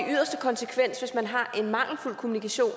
i yderste konsekvens hvis man har en mangelfuld kommunikation